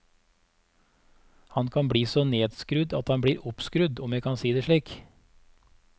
Han kan bli så nedskrudd at han blir oppskrudd, om jeg kan si det slik.